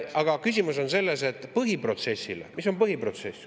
Aga küsimus on selles, mis on põhiprotsess.